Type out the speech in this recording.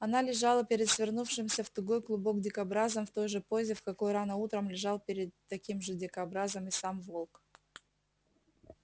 она лежала перед свернувшимся в тугой клубок дикобразом в той же позе в какой рано утром лежал перед таким же дикобразом и сам волк